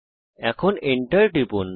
Enter টিপুন